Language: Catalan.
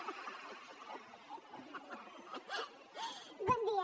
bon dia